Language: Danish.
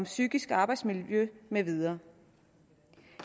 psykiske arbejdsmiljø med videre